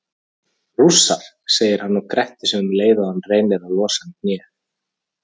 Rússar, segir hann og grettir sig um leið og hann reynir að losa um hnéð.